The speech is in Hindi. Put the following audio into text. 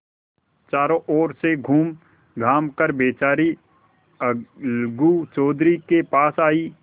चारों ओर से घूमघाम कर बेचारी अलगू चौधरी के पास आयी